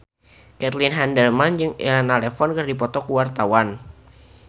Caitlin Halderman jeung Elena Levon keur dipoto ku wartawan